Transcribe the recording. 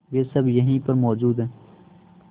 वे सब यहीं पर मौजूद है